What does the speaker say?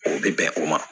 O bɛ bɛn o ma